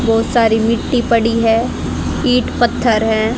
बहोत सारी मिट्टी पड़ी है ईंट पत्थर है।